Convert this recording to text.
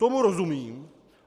Tomu rozumím.